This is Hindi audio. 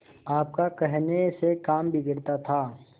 आपका कहने से काम बिगड़ता था